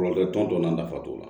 Kɔlɔlɔ t'o la nafa t'o la